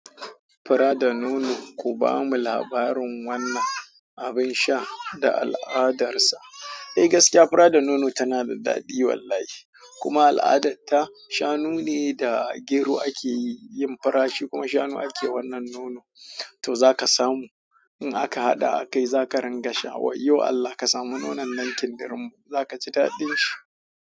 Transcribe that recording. Fura da nono. Ku bamu labarin wannan abin sha da al'adarsa. Eh gaskiya fura da nono tana da daɗi wallahi. Kuma al'adarta, shanu ne da gero ake yin furashi kuma shanu ake wannan nono. To za ka samu in aka hada, kai za ka ringa sha. A yau Allah ka samu nonon nan kindir mo, za ka ji daɗin shi.